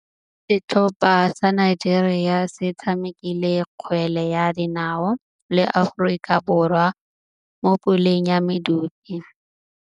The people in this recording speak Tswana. Setlhopha sa Nigeria se tshamekile kgwele ya dinaô le Aforika Borwa mo puleng ya medupe.